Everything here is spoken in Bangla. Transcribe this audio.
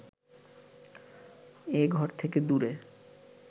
এ ঘর থেকে দূরে